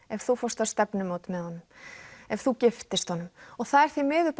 ef þú fórst á stefnumót með honum ef þú giftist honum það er því miður